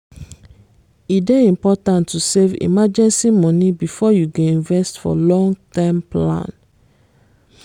e dey important to save emergency money before you go invest for long-term plan